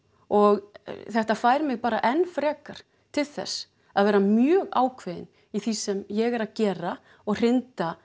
og þetta fær mig bara enn frekar til þess að vera mjög ákveðin í því sem ég er að gera og hrinda